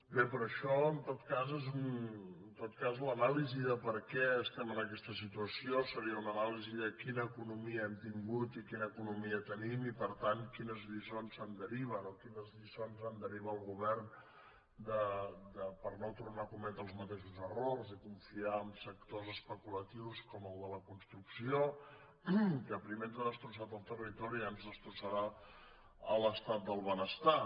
bé però això en tot cas l’anàlisi de per què estem en aquesta situació seria una anàlisi de quina economia hem tingut i quina economia tenim i per tant quines lliçons se’n deriven o quines lliçons en deriva el govern per no tornar a cometre els mateixos errors i confiar en sectors especulatius com el de la construcció que primer ens ha destrossat el territori i ara ens destrossarà l’estat del benestar